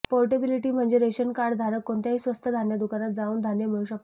portability म्हणजे ration card धारक कोणत्याही स्वस्त धान्य दुकानात जाऊन धान्य मिळवू शकतो